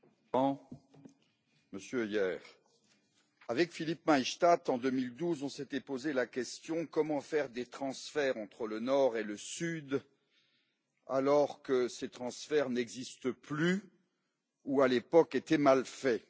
Monsieur le Président, Monsieur Hoyer, avec Philippe Maystadt, en 2012, on s'était posé la question comment faire des transferts entre le Nord et le Sud, alors que ces transferts n'existent plus, ou à l'époque étaient mal faits?